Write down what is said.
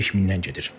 Söhbət 5000-dən gedir.